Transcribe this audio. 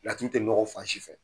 Laturu tɛ nɔgɔ fansi fɛ